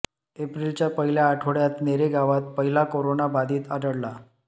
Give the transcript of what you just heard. एप्रिलच्या पहिल्या आठवड्यात नेरे गावात पहिला करोना बाधित आढळला